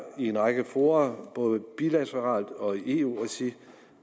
i en række fora både bilateralt og i eu regi